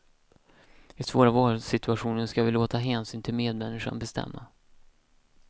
I svåra valsituationer ska vi låta hänsyn till medmänniskan bestämma.